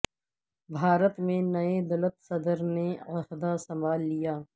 بھارت میں نئے دلت صدر نے عہدہ سنبھال لیا